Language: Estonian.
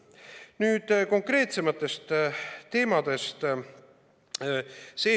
Nüüd konkreetsematest teemadest.